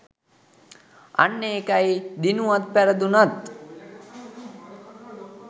අන්න ඒකයි දිනුවත් පැරදුනත්